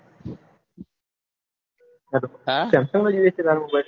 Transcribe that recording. samsang નો જોયે છે તાર mobile